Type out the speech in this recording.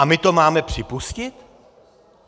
A my to máme připustit?